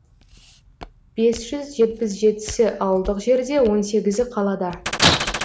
бес жүз жетпіс жетісі ауылдық жерде он сегізі қалада